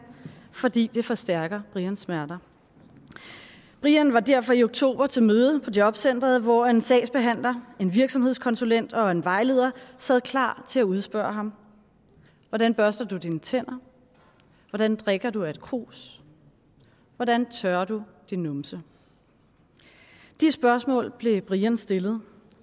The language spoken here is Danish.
fordi det forstærker brians smerter brian var derfor i oktober til møde på jobcenteret hvor en sagsbehandler en virksomhedskonsulent og en vejleder sad klar til at udspørge ham hvordan børster du dine tænder hvordan drikker du af et krus hvordan tørrer du din numse de spørgsmål blev brian stillet